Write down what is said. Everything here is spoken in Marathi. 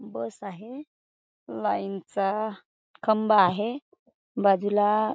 बस आहे लाइन चा खंबा आहे बाजूला --